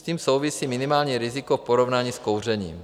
S tím souvisí minimální riziko v porovnání s kouřením.